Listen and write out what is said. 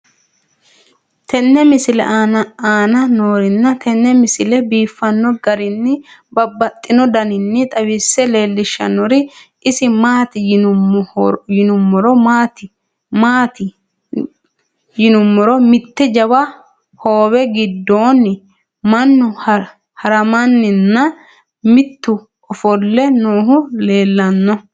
tenne misile aana noorina tini misile biiffanno garinni babaxxinno daniinni xawisse leelishanori isi maati yinummoro mitte jawa hoowe gidoonni mannu harammanni nna mitu offolle noohu leelanno